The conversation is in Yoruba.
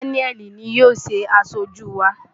Daniel ni yóò ṣe aṣojú wa.